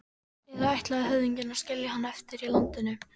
Eða ætlaði höfðinginn að skilja hann eftir í landinu?